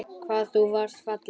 Hvað þú varst falleg.